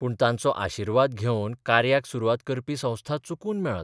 पूण तांचो आशिर्वाद घेवन कार्याक सुरवात करपी संस्था चुकून मेळत.